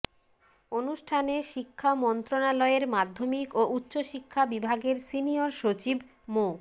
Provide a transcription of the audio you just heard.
অনুষ্ঠানে শিক্ষা মন্ত্রণালয়ের মাধ্যমিক ও উচ্চশিক্ষা বিভাগের সিনিয়র সচিব মো